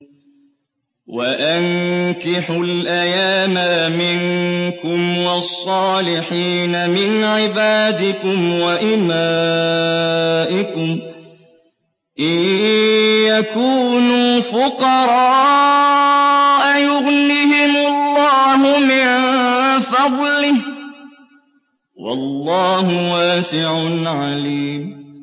وَأَنكِحُوا الْأَيَامَىٰ مِنكُمْ وَالصَّالِحِينَ مِنْ عِبَادِكُمْ وَإِمَائِكُمْ ۚ إِن يَكُونُوا فُقَرَاءَ يُغْنِهِمُ اللَّهُ مِن فَضْلِهِ ۗ وَاللَّهُ وَاسِعٌ عَلِيمٌ